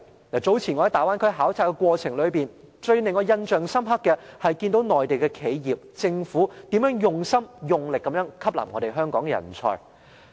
我早前在大灣區考察的過程裏，令我最印象深刻的是，內地企業、政府，用心用力地吸納香港人才。